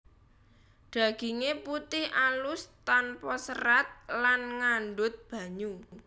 Daginge putih alus tanpa serat lan ngandhut banyu